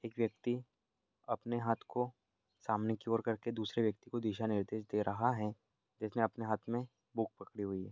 एक व्यक्ति अपने हाथ को सामने की ओर करके दूसरे व्यक्ति को दिशा निर्देश दे रहा है जिसने अपने हाथ में बुक पकड़ी हुई है।